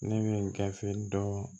Ne bɛ gafe dɔ